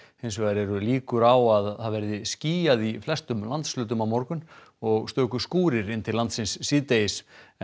hins vegar eru líkur á að verði skýjað í flestum landshlutum á morgun og stöku skúrir inn til landsins síðdegis en